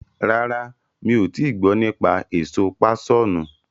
Rárá, mi ò tii gbọ́ nípa èso páṣọ̀nù.